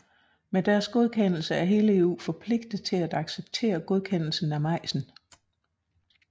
Med deres godkendelse er hele EU forpligtet til at acceptere godkendelsen af majsen